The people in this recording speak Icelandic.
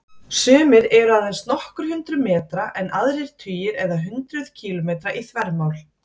Sumir eru aðeins nokkur hundruð metra en aðrir tugir eða hundruð kílómetra í þvermál.